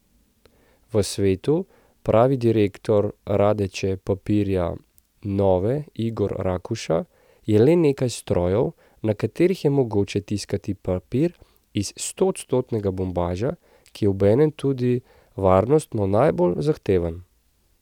V svetu, pravi direktor Radeče Papirja Nove Igor Rakuša, je le nekaj strojev, na katerih je mogoče tiskati papir iz stoodstotnega bombaža, ki je obenem tudi varnostno najbolj zahteven.